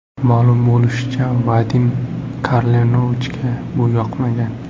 Ma’lum bo‘lishicha, Vadim Karlenovichga bu yoqmagan.